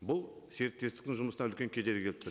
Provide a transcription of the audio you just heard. бұл серіктестіктің жұмысына үлкен кедергі